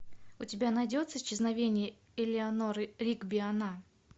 у тебя найдется исчезновение элеанор ригби она